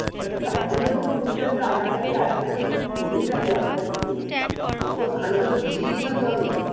তা তার জন্য বলছিলাম তো তোকে আমার কাছকে আস্তে তা তুই এলিনা তো আমার কাছকে তোকে ভালো করে বুঝিয়ে দিতাম তো আমি